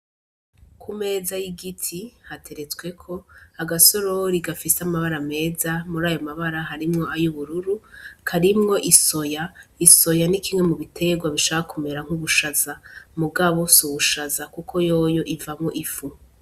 Ku meza y'igiti hateretsweko agasorori gafise amabara ameza muri ayo mabara harimwo ayo ubururu karimwo isoya isoya n'ikimwe mu biterwa bishaka kumera nk'ubushaza mu gabo si ubushaza, kuko yoyo ivamwo ifu.